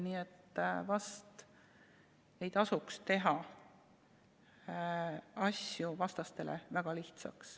Nii et vast ei tasuks teha asju vastastele väga lihtsaks.